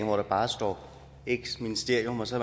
hvor der bare står x ministerium og så